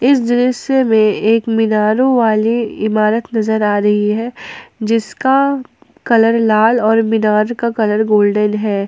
इस दृश्य में एक मीनारो वाली इमारत नजर आ रही है जिसका कलर लाल और मीनार का कलर गोल्डन है।